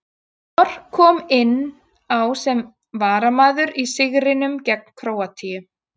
Mor kom inn á sem varamaður í sigrinum gegn Króatíu.